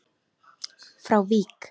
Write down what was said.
frá Vík.